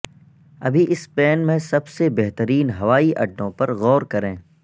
ابھی سپین میں سب سے بہترین ہوائی اڈوں پر غور کریں